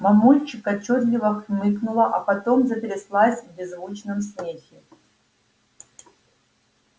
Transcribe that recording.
мамульчик отчётливо хмыкнула а потом затряслась в беззвучном смехе